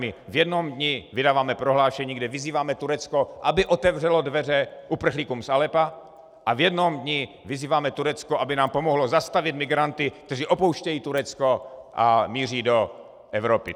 My v jednom dni vydáváme prohlášení, kde vyzýváme Turecko, aby otevřelo dveře uprchlíkům z Aleppa, a v jednom dni vyzýváme Turecko, aby nám pomohlo zastavit migranty, kteří opouštějí Turecko a míří do Evropy.